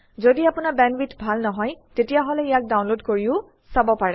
যদি আপোনাৰ বেণ্ডৱিডথ ভাল নহয় তেতিয়াহলে ইয়াক ডাউনলোড কৰিও চাব পাৰে